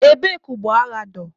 Ebee ka ụgbọ agha dọ?